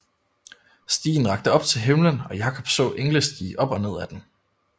Stigen rakte op til himlen og Jakob så engle stige op og ned ad den